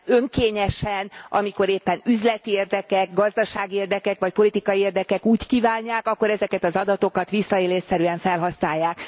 önkényesen, amikor éppen üzleti érdekek, gazdasági érdekek vagy politikai érdekek úgy kívánják, akkor ezeket az adatokat visszaélésszerűen felhasználják.